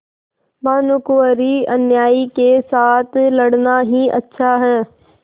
भानुकुँवरिअन्यायी के साथ लड़ना ही अच्छा है